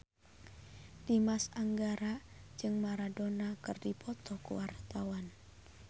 Dimas Anggara jeung Maradona keur dipoto ku wartawan